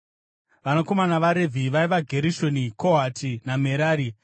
Vanakomana vaRevhi vaiva Gerishoni, Kohati naMerari.